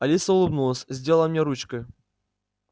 алиса улыбнулась сделала мне ручкой